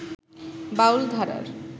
বাউল ধারার